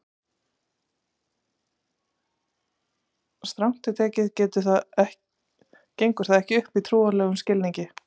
strangt til tekið gengur það ekki upp í trúarlegum skilningi